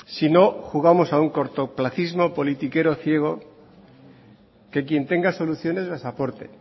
si no jugamos a un cortoplacismo politiquero ciego que quien tenga soluciones las aporte